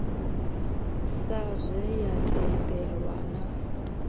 sa zwe ya tendelwa na